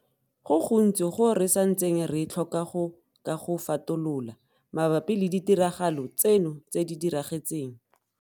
Go gontsi go re santseng re tlhoka go ka go fatolola mabapi le ditiragalo tseno tse di diragetseng.